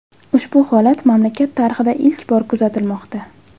Ushbu holat mamlakat tarixida ilk bor kuzatilmoqda.